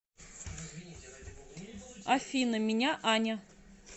афина меня аня